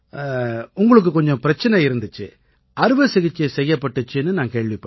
உங்களுக்குக் கொஞ்சம் பிரச்சனை இருந்திச்சு அறுவை சிகிச்சை செய்யப்பட்டிச்சுன்னு நான் கேள்விப்பட்டேன்